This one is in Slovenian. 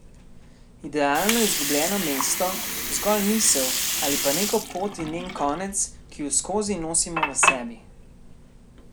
Idealno izgubljeno mesto, zgolj misel, ali pa neko pot in njen konec, ki ju skozi nosimo v sebi?